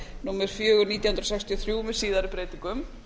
númer fjögur nítján hundruð sextíu og þrjú með síðari breytingum